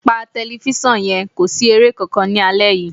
Pa tẹlifíṣàn yẹn, kò sí eré kankan ní alẹ́ yìí